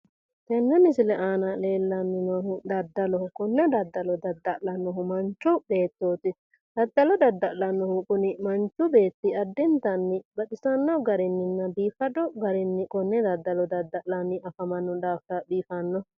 tenne misile aana leellanni noohu daddaloho konne daddalo dadda'lannohu manchi beettooti daddalo dadda'lnnohu kuni manchi beetti kuni addintanni baxissanno garininna biifado garinni konne daddalo dadda'lanni afamanno daafira biifanno.